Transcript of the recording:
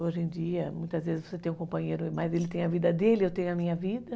Hoje em dia, muitas vezes você tem um companheiro, mas ele tem a vida dele, eu tenho a minha vida.